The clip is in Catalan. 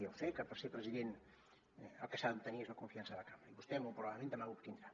ja ho sé que per ser president el que s’ha d’obtenir és la confiança de la cambra i vostè molt probablement demà l’obtindrà